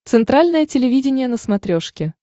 центральное телевидение на смотрешке